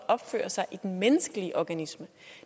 opfører sig i den menneskelige organisme